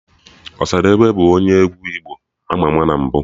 Ọsadebe bụ onye egwu igbo ama ama na mbụ